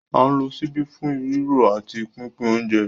À ń lo ṣíbí fún rírò àti pínpín oúnjẹ